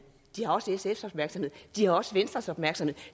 de har også sfs opmærksomhed de har også venstres opmærksomhed